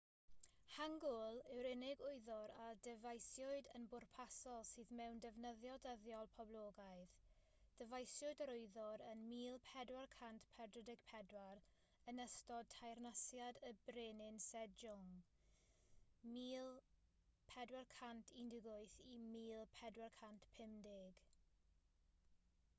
hangeul yw'r unig wyddor a ddyfeisiwyd yn bwrpasol sydd mewn defnyddio dyddiol poblogaidd. dyfeisiwyd yr wyddor ym 1444 yn ystod teyrnasiad y brenin sejong 1418-1450